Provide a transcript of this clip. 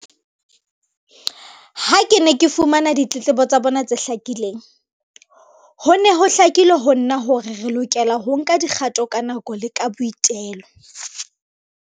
Ha ke ne ke fumana ditletlebo tsa bona tse hlakileng, ho ne ho hlakile ho nna hore re lokela ho nka dikgato ka nako le ka boitelo.